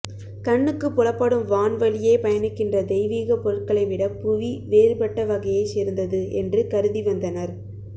கண்ணுக்குப் புலப்படும் வான் வழியே பயணிக்கின்ற தெய்வீகப் பொருட்களை விட புவி வேறுபட்ட வகையைச் சேர்ந்தது என்று கருதிவந்தனர்